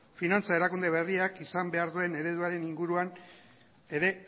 finantza erakunde berriak izan behar duen ereduaren inguruan ere